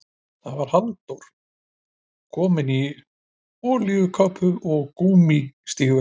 Það var Halldór, kominn í olíukápu og gúmmístígvél.